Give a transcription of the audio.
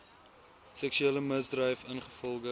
seksuele misdryf ingevolge